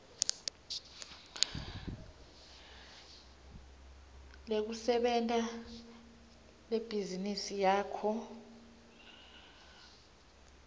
lekusebenta lebhizinisi yakho